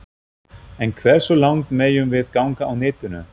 En hversu langt megum við ganga á netinu?